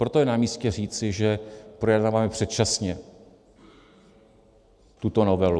Proto je namístě říci, že projednáváme předčasně tuto novelu.